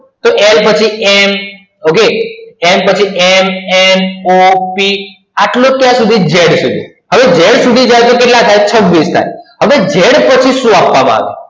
તો l પછી m n o p આટલે લય z સુધી હવે z સુધી કેટલા થાય છવીશ થાય હવે જેડ પછી સુ આપવામાં આયુ